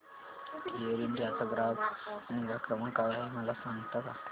air India चा ग्राहक निगा क्रमांक काय आहे मला सांगता का